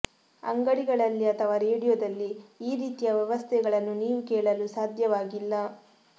ಅಂಗಡಿಗಳಲ್ಲಿ ಅಥವಾ ರೇಡಿಯೊದಲ್ಲಿ ಈ ರೀತಿಯ ವ್ಯವಸ್ಥೆಗಳನ್ನು ನೀವು ಕೇಳಲು ಸಾಧ್ಯವಾಗಿಲ್ಲ